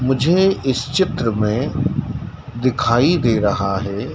मुझे इस चित्र में दिखाई दे रहा है।